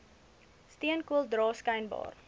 steenkool dra skynbaar